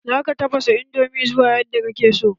Za ka taffasa indomin zuwa yadda ka ke so